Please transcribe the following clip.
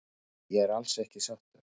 Nei ég er alls ekki sáttur